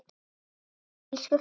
Takk elsku frænka.